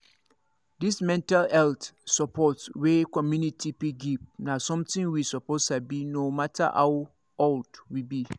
this mental health support wey community fit give na something we suppose sabi no matter how old we be